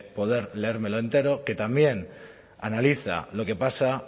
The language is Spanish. poder leérmelo entero que también analiza lo que pasa